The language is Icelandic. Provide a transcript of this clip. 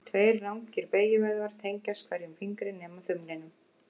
Tveir langir beygjuvöðvar tengjast hverjum fingri nema þumlinum.